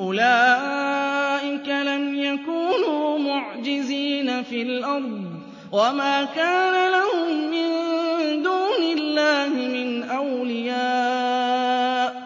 أُولَٰئِكَ لَمْ يَكُونُوا مُعْجِزِينَ فِي الْأَرْضِ وَمَا كَانَ لَهُم مِّن دُونِ اللَّهِ مِنْ أَوْلِيَاءَ ۘ